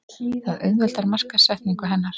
Það auðveldar markaðssetningu hennar.